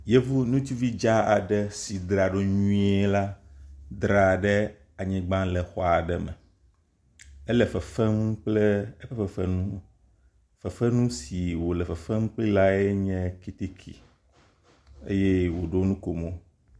Yevu ŋutsuvi dzaa aɖe si dzraɖo nyuie la dzra ɖe anyigba le xɔ aɖe me. Ele fefem kple eƒe fefenu. Fefenu si wòle fefem kple lae nye kɛtɛkɛ eye wòɖo nu ko mo.